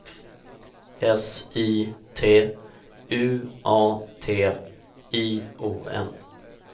S I T U A T I O N